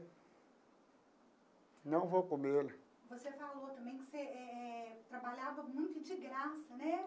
Não vou comer. Você falou também que você eh eh trabalhava muito de graça, né?